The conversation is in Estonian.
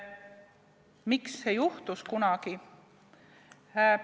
Miks see asi kunagi juhtus?